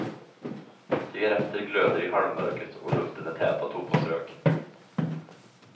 Cigarretter glöder i halvmörkret och luften är tät av tobaksrök.